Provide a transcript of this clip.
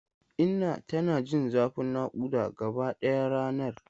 Inna tana jin zafin nakuda gabaɗaya ranar.